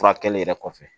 Furakɛli yɛrɛ kɔfɛ